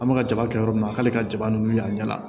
An bɛka ka jaba kɛ yɔrɔ min na k'ale ka jaba nun wuli a ɲɛ la